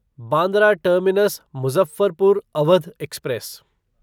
Bandra terminus Muzaffarpur Awadh express